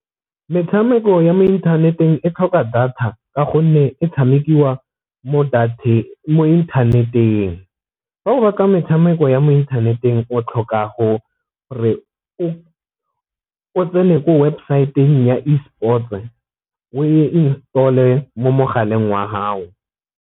Metshameko ya mo inthaneteng e tlhoka data ka gonne e tshamekiwa mo inthaneteng, fa o metshameko ya mo inthaneteng o tlhoka go gore o tsene ko websaeteng ya esport-e o e install-e mo mogaleng wa haho.